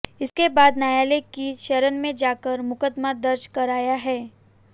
इसके बाद न्यायालय की शरण में जाकर मुकदमा दर्ज कराया है